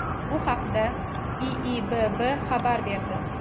Bu haqda IIBB xabar berdi .